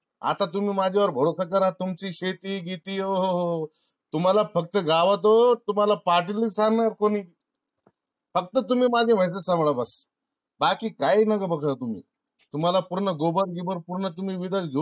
आता तुम्ही माझ्या वर भरोसा करा. तुमची शेती बीती ओ हो हो तुम्हाला फक्त गावात ओ पाटील नाय सांगणार कुणी. फक्त तुम्ही माझा व्हयाच का तेवड बघा. बाकी काय नका बघू तुम्ही तुम्हाला पूर्ण gobar गिबर पूर्ण तुम्ही विदेश घेऊ